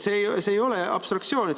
See ei ole abstraktsioon.